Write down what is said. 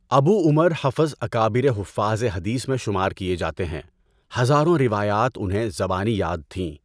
ابو Umar Hafs اکابرِ حُفّاظِ حدیث میں شمار کئے جاتے ہیں، ہزاروں روایات انہیں زبانی یاد تھیں۔